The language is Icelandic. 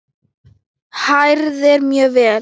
Hrærið mjög vel.